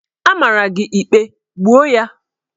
A mara gị ikpe, gbuo ya!